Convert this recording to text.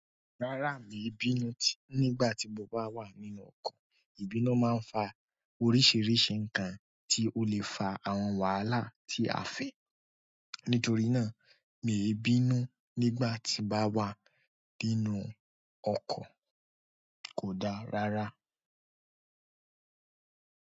Rárá mi ò bínú nígbà tí mo bá wà nínú ọkọ̀, ìbínú máa ń fa oríṣiríṣi nǹkan tí ó lè fa àwọn wàhálà tí a fẹ́. Nítorí náà, mii bínú nígbà tí n bá wà nínú ọkọ̀. Kò da rara.